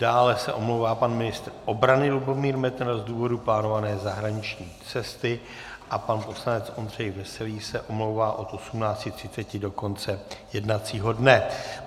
Dále se omlouvá pan ministr obrany Lubomír Metnar z důvodu plánované zahraniční cesty a pan poslanec Ondřej Veselý se omlouvá od 18.30 do konce jednacího dne.